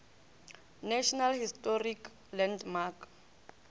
national historic landmark